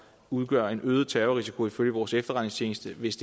udgør en forøget terrorrisiko ifølge vores efterretningstjeneste hvis